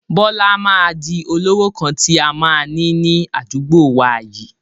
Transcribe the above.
Bọlá máa di olówó kan tí a máa ni ní àdúgbò wá yìí